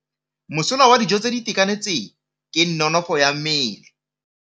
Mosola wa dijô tse di itekanetseng ke nonôfô ya mmele.